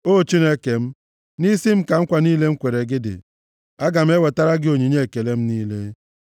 O Chineke m, nʼisi m ka nkwa niile m kwere gị dị; aga m ewetara gị onyinye ekele m niile.